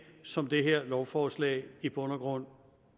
som det her lovforslag i bund og grund